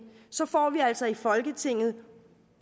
så får vi altså i folketinget